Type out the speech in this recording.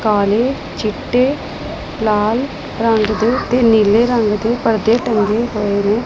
ਕਾਲੇ ਚਿੱਟੇ ਲਾਲ ਰੰਗ ਦੇ ਤੇ ਨੀਲੇ ਰੰਗ ਦੇ ਪਰਦੇ ਟੰਗੇ ਹੌਏ ਨੇ।